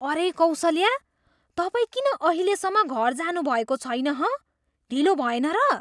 अरे कौसल्या, तपाईँ किन अहिलेसम्म घर जानुभएको छैन हँ? ढिलो भएन र?